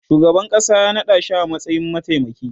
shugaban ƙasa ya naɗashi a matsayin mataimaki